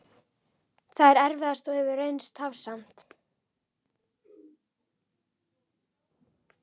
Það er erfiðast og hefur reynst tafsamt.